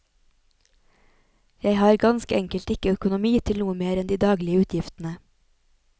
Jeg har ganske enkelt ikke økonomi til noe mer enn de daglige utgiftene.